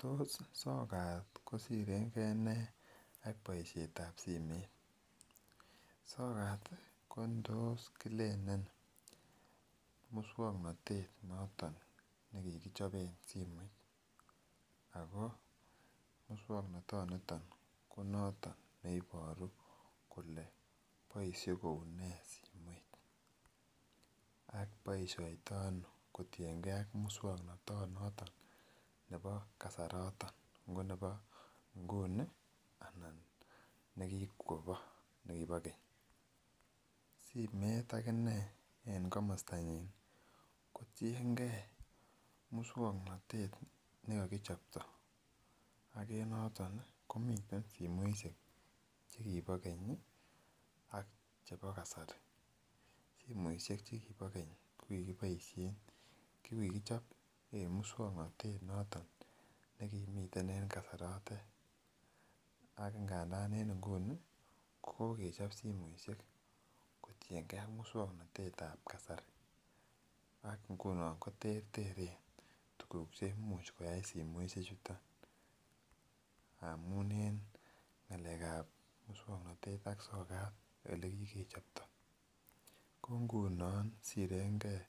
Tos sokat kosirengee nee ak boishetab simet, sokat ko tos Killelen muswoknotet noton nekikichoben simoit ako muswoknotoniton ko noton neiboru kole boishe kou nee simoit ak boishoniton kotinyengee ak muswoknotoni noton nebo kasaroton ngo nebo inguni anan nekikobo nekibo kenyi. Simoit akinee en komostanyun kotinyengee muswoknotet nekokichopto ak noton komiten simoishek chekibo kenyi ak chebo kasari, simoishek chekibo keny ko kikiboishen kokichop en muswoknotet noton nekimiten en kasarotet ak ngandan en inguni ko kokechop simoit kotiyengee ak muswoknotet tab kasari ak nguno koterteren tukuk cheimuch koyai simoishek chuton amun en ngalekab muswoknotet ak sokat olekigechopto ko ngunon sirengee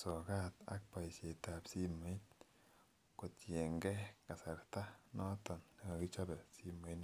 sokat ak boishetab simoit kotiyengee kasarta noton nekokichobe simoit noton.